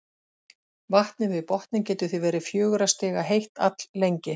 Vatnið við botninn getur því verið fjögurra stiga heitt alllengi.